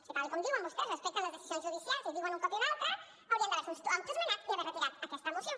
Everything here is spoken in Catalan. si tal com diuen vostès respecten les decisions judicials i ho diuen i un cop i un altre haurien d’haver se autoesmenat i haver retirat aquesta moció